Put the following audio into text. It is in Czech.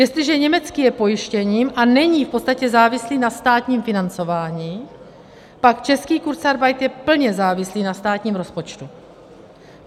Jestliže německý je pojištěním a není v podstatě závislý na státním financování, pak český kurzarbeit je plně závislý na státním rozpočtu.